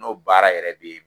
N'o baara yɛrɛ bɛ